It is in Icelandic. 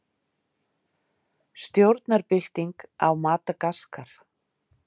Stjórnarbylting á Madagaskar